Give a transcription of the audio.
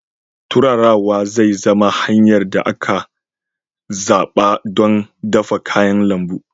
Turarawa zai zama hanyar da aka zaɓa don dafa kayan lambu.